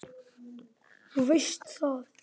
Þú veist það.